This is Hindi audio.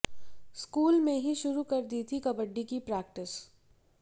स्कूल में ही शुरू कर दी थी कबड्डी की प्रैक्टिस